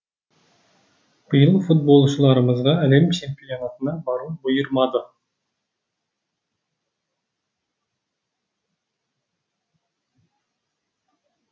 биыл футболшыларымызға әлем чемпионатына бару бұйырмады